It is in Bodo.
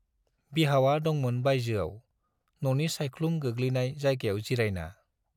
बिहावा दंमोन बाइजोआव, न'नि साइख्लुम गोग्लैनाय जायगायाव जिरायना।